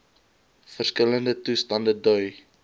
verskillende toestande dui